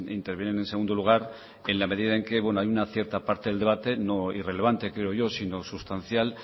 intervienen en segundo lugar en la medida en que hay una cierta parte del debate no irrelevante creo yo sino sustancial